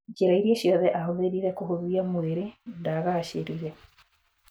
Njĩra iria ciothe ahũthĩrire kũhũdhia mwĩrĩ ndagaacĩrire.